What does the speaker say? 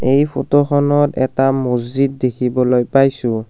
এই ফটো খনত এটা মছজিদ দেখিবলৈ পাইছোঁ।